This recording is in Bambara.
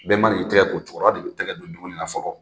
Bɛɛ man'i tɛgɛ ko, cɛkɔrɔba de bɛ tɛgɛ don dumuni na fɔlɔ.